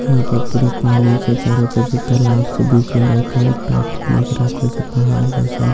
यहां पर पूरा पानी छे चारो तरफ से तालाब छे बीच मे बड़का ए गो टापू नजर आबए छे पहाड़ जइसन --